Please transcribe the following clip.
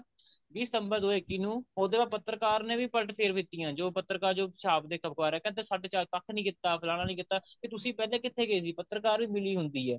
ਵੀਹ September ਦੋ ਹਜ਼ਾਰ ਇੱਕੀ ਨੂੰ ਉੱਧਰ ਪੱਤਰਕਾਰ ਨੇ ਪਲਟ ਫੇਰ ਵੀਤੀਆਂ ਜੋ ਪਤਰਕਾਰ ਜੋ ਛਾਪਦੇ ਅਖਬਾਰ ਕਹਿੰਦਾ ਸਾਡੇ ਚਾਰ ਪੱਖ ਨਹੀਂ ਕੀਤਾ ਫਲਾਨਾ ਨਹੀਂ ਕੀਤਾ ਕਿ ਤੁਸੀਂ ਪਹਿਲਾਂ ਕਿੱਥੇ ਗਏ ਸੀ ਪਤਰਕਾਰ ਵੀ ਮਿਲੀ ਹੁੰਦੀ ਹੈ